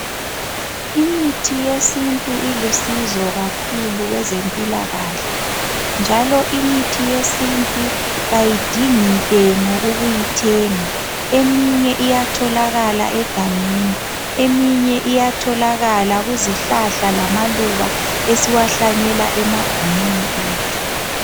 Imithi yesintu ilusizo kakhulu kwezempilakahle njalo imithi yesintu kayidingi ntengo ukuyithenga. Eminye iyatholakala egangeni eminye iyatholakala kuzihlahla lamaluba esiwahlanyela emagumeni ethu.